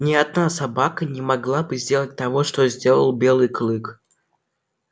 ни одна собака не могла бы сделать того что сделал белый клык